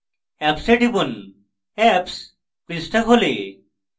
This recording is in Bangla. apps এ টিপুন apps পৃষ্ঠা খোলে